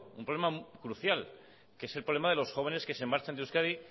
un problema crucial que es el problema de los jóvenes que se marchan de euskadi